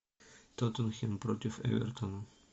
тоттенхэм против эвертона